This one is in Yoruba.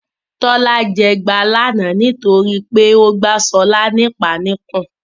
Tọ́lá jẹ ẹgba lánàá nítorí pé ó gbá Ṣọ́lá ní ìpá níkùn.